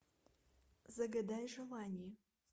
загадай желание